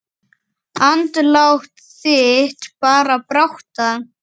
Andlát þitt bar brátt að.